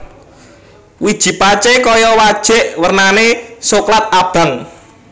Wiji pacé kaya wajik wernané soklat abang